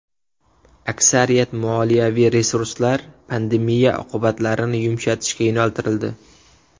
Aksariyat moliyaviy resurslar pandemiya oqibatlarini yumshatishga yo‘naltirildi.